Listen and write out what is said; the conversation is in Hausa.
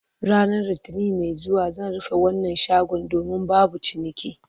Ranar Litinin mai zuwa zan rufe wannan shagon domin babu ciniki